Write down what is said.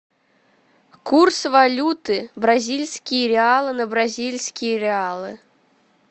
курс валюты бразильские реалы на бразильские реалы